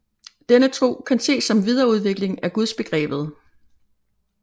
Denne tro kan ses som en videreudvikling af Gudsbegrebet